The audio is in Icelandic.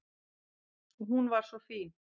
Og hún var svo fín.